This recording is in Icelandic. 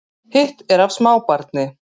Hitt er af smábarni